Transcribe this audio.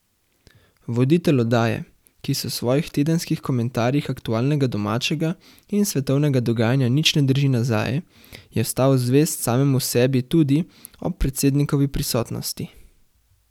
Voditelj oddaje, ki se v svojih tedenskih komentarjih aktualnega domačega in svetovnega dogajanja nič ne drži nazaj, je ostal zvest samemu sebi tudi ob predsednikovi prisotnosti.